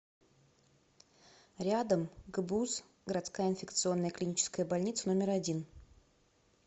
рядом гбуз городская инфекционная клиническая больница номер один